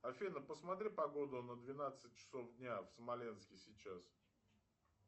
афина посмотри погоду на двенадцать часов дня в смоленске сейчас